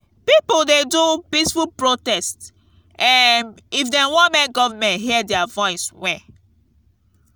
pipo dey do peaceful protest um if dem wan make government hear dia voice well.